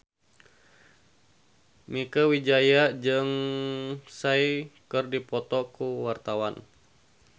Mieke Wijaya jeung Psy keur dipoto ku wartawan